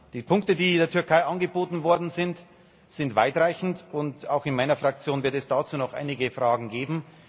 Die Punkte, die der Türkei angeboten worden sind, sind weitreichend und auch in meiner Fraktion wird es dazu noch einige Fragen geben.